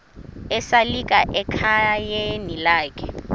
esalika ekhayeni lakhe